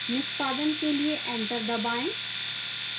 निष्पादन के लिए enter दबाएं